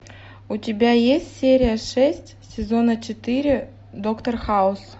у тебя есть серия шесть сезона четыре доктор хаус